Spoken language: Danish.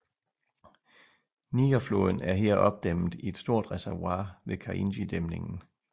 Nigerfloden er her opdæmmet i et stort reservoir ved Kainjidæmningen